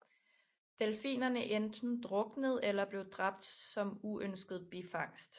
Delfinerne enten druknede eller blev dræbt som uønsket bifangst